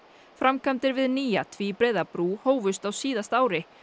framkvæmdir við nýja tvíbreiða brú hófust á síðasta ári